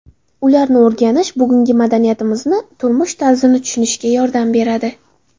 Ularni o‘rganish bugungi madaniyatimizni, turmush tarzini tushunishga yordam beradi.